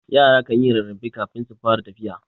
Yara kanyi rarrafe kafin su fara tafiya.